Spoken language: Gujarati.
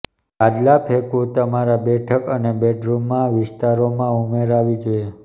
ગાદલા ફેંકવું તમારા બેઠક અને બેડરૂમમાં વિસ્તારોમાં ઉમેરાવી જોઈએ